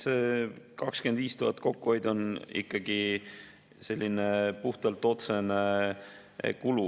See 25 000 kokkuhoidu on ikkagi puhtalt otsene kulu.